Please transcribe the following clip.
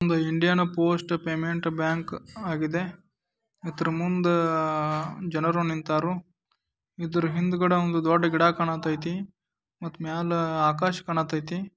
ಒಂದು Indian post payment bank ಆಗಿದೆ ಅದರ ಮುಂದೆ ಜನರು ನಿಂತರು ಇದರ ಹಿಂದುಗಡೆ ಒಂದು ದೊಡ್ಡ ಗಿಡ ಕಾಣತೈತಿ. ಮತ್ತೆ ಮ್ಯಾಲೆ ಆಕಾಶ ಕಾಣತೈತಿ.